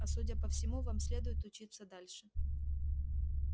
а судя по всему вам следует учиться дальше